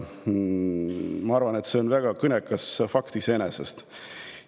Ma arvan, et see on iseenesest väga kõnekas fakt.